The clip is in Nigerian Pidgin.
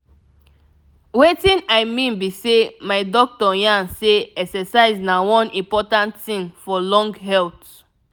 wetin i mean be sey my doctor yarn say exercise na one important thing thing for long health.